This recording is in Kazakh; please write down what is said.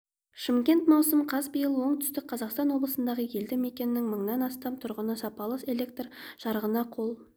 шымкент маусым қаз биыл оңтүстік қазақстан облысындағы елді мекеннің мыңнан астам тұрғыны сапалы электр жарығына қол